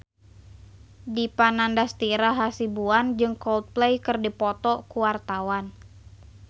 Dipa Nandastyra Hasibuan jeung Coldplay keur dipoto ku wartawan